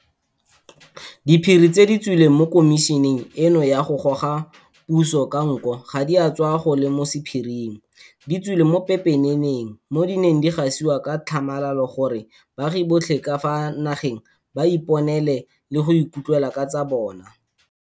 Diphiri tse di tswileng mo khomišeneng eno ya go goga puso ka nko ga di a tswa go le mo sephiring, di tswile mo pepeneneng mo di neng di gasiwa ka tlhamalalo gore baagi botlhe ka fa nageng ba iponele le go ikutlwela ka tsa bona.